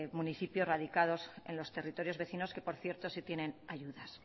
municipios radicados en los territorios vecinos que por cierto sí tienen ayudas